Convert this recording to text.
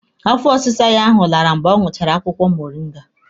Afọ ọsịsa ya ahụ lara mgbe ọ ṅụchara akwụkwọ moringa.